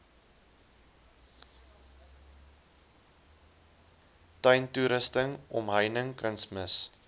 tuintoerusting omheining kunsmis